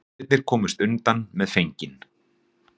Mennirnir komust undan með fenginn